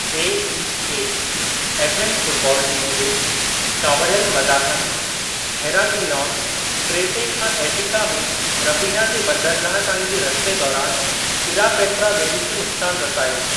AEK Athens football team जे कावड़ियलु मदाहनि हेराक्लिओन, क्रेते खां एटिका में रफ़ीना जे बंदरगाह ताईं जे रस्ते दौरान 'इरापेट्रा' बे॒ड़ी खे नुक़्सान रसायो।